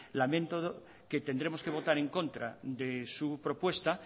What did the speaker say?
lamento que tendremos que votar en contra de su propuesta